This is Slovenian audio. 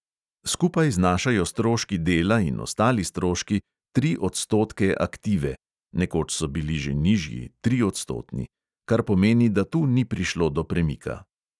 Skupaj znašajo stroški dela in ostali stroški tri odstotke aktive (nekoč so bili že nižji, triodstotni), kar pomeni, da tu ni prišlo do premika.